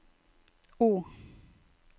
O